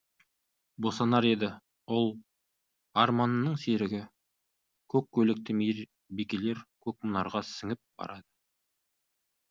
босанар еді ұл арманының серігі көк көйлекті мейірбикелер көкмұнарға сіңіп барады